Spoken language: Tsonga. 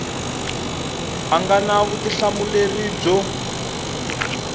a nga na vutihlamuleri byo